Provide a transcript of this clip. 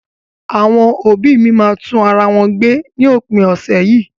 Àwọn òbí́ mi máa tún ara wọn gbé ní òpin ọ̀sẹ̀ yìí.